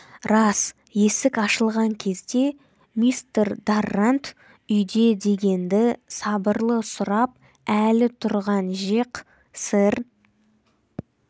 рас есік ашылған кезде мистер даррант үйде дегенді сабырлы сұрап әлі тұрған жеқ сэр